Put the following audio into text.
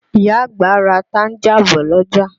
Ìyá àgbà ra tanga bọ̀ l'ọ́jà.